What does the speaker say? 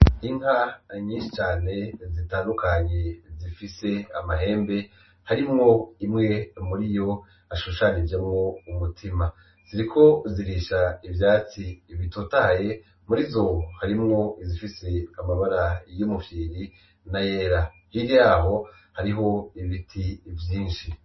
Inka nyinshi cane zitandukanye zifise amahembe harimwo imwe muri yo hashushanijemwo umutima, ziriko zirisha ivyatsi bitotahaye, mur'izo harimwo izifise amabara y'umufyiri na yera, hirya yaho hariho ibiti vyinshi.